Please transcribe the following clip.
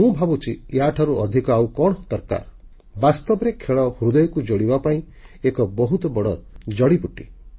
ମୁଁ ଭାବୁଛି ୟାଠାରୁ ଅଧିକ ଆଉ କଣ ଦରକାର ବାସ୍ତବରେ ଖେଳ ହୃଦୟକୁ ଯୋଡ଼ିବା ପାଇଁ ଏକ ବହୁତ ବଡ଼ ଜଡ଼ିବୁଟି